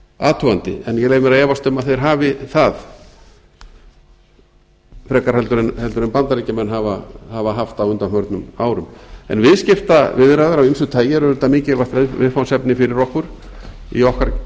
athugandi en ég leyfi mér að efast um að þeir hafi það frekar en bandaríkjamenn hafa haft á undanförnum árum en viðskiptaviðræður af ýmsu tagi eru auðvitað mikilvægt viðfangsefni fyrir okkur í